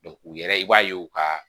u yɛrɛ i b'a ye u ka